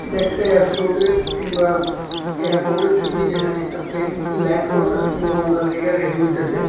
এটা একটা এয়ারপ্লোটের কিংবা এয়ারপোর্টের ছবি যেখানে একটা প্লেন ল্যান্ড করতাসে কিম্বা উড়ার লগে রেডি হইতাসে।